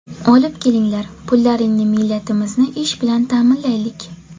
Olib kelinglar pullaringni millatimizni ish bilan ta’minlaylik.